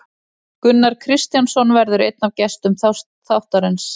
Gunnar Kristjánsson verður einn af gestum þáttarins.